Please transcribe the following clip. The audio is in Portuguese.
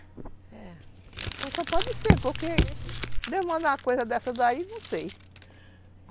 É, só pode ser, porque Deus mandar uma coisa dessa daí, não sei.